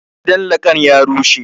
Gidan lakan ya rushe